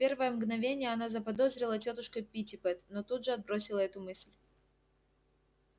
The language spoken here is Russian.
в первое мгновение она заподозрила тётушку питтипэт но тут же отбросила эту мысль